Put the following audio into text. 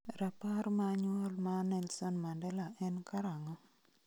Rapar ma nyuol ma Nelson Mandela en karang'o?